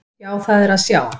Já, það er að sjá.